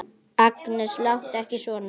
Agnes, láttu ekki svona!